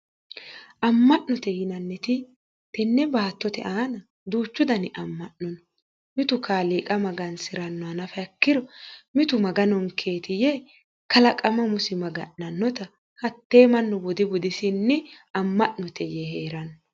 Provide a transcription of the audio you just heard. Amma'note yinanniti tenne baattote aana duuchu dani amma'nono mitu qaaliiqa magansirannoha nafa ikkiro mitu maganonkeetiye kalaqama umosi maga'nannota hattee mannu budi budisinnii amma'note yee heeranno